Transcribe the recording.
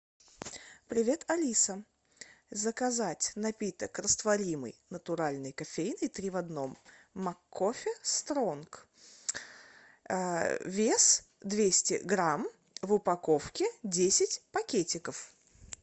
привет алиса заказать напиток растворимый натуральный кофейный три в одном маккофе стронг вес двести грамм в упаковке десять пакетиков